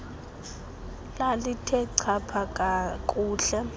lalithe chapha kuhle